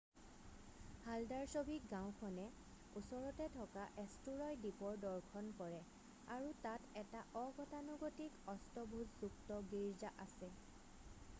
Haldarsvik গাওঁখনে ওচৰতে থকা এষ্টুৰয় দ্বীপৰ দৰ্শন কৰে আৰু তাত এটা অগতানুগতিক অষ্টভূজযুক্ত গীৰ্জা আছে